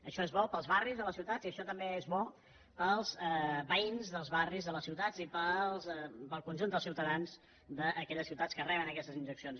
això és bo per als barris de les ciutats i això també és bo per als veïns dels barris de les ciutats i per al conjunt dels ciutadans d’aquelles ciutats que re·ben aquestes injeccions